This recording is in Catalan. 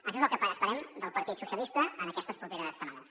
això és el que esperem del partit socialista en aquestes properes setmanes